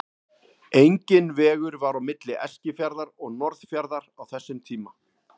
Enginn vegur var á milli Eskifjarðar og Norðfjarðar á þessum tíma.